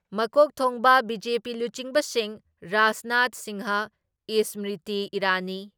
ꯃꯀꯣꯛ ꯊꯣꯡꯕ ꯕꯤ.ꯖꯦ.ꯄꯤ ꯂꯨꯆꯤꯡꯕꯁꯤꯡ, ꯔꯥꯖꯅꯥꯊ ꯁꯤꯡꯍ, ꯏꯁꯃ꯭ꯔꯤꯇꯤ ꯏꯔꯥꯅꯤ,